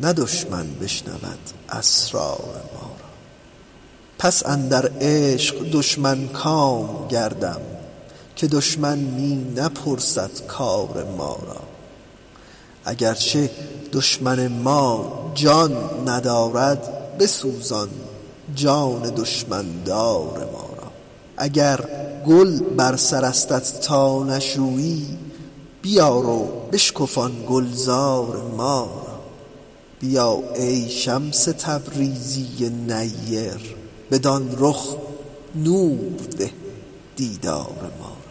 نه دشمن بشنود اسرار ما را پس اندر عشق دشمن کام گردم که دشمن می نپرسد کار ما را اگر چه دشمن ما جان ندارد بسوزان جان دشمن دار ما را اگر گل بر سرستت تا نشویی بیار و بشکفان گلزار ما را بیا ای شمس تبریزی نیر بدان رخ نور ده دیدار ما را